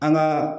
An ka